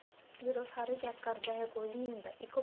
ਫ਼ਿਰ ਉਹ ਸਾਰੇ check ਕਰਦਾ ਏ ਕੋਈ ਨਹੀਂ ਹੁੰਦਾ ਇੱਕ ਉਹ